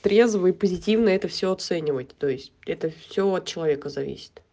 трезвый позитивный это всё оценивает то есть это всё от человека зависит